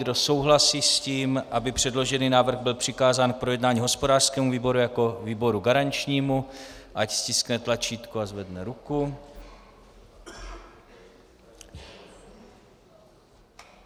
Kdo souhlasí s tím, aby předložený návrh byl přikázán k projednání hospodářskému výboru jako výboru garančnímu, ať stiskne tlačítko a zvedne ruku.